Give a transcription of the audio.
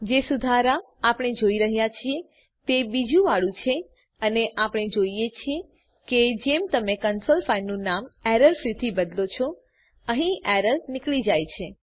જે સુધાર આપણે શોધી રહ્યા છીએ તે બીજુંવાળુ છે અને આપણે જોઈએ છીએ કે જેમ તમે ક્લાસ ફાઈલનું નામ એરરફ્રી થી બદલો છો અહીં એરર નીકળી જાય છે